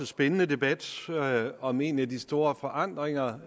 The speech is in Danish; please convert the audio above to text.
spændende debat om en af de store forandringer